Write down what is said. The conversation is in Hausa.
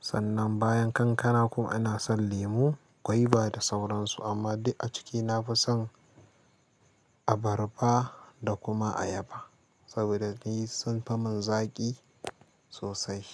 sannan bayan kankana kuma ina son lemu, gwaiba da sauran su amma dai a ciki na fi son abarba da kuma ayaba saboda ni sun fi mun zaƙi sosai.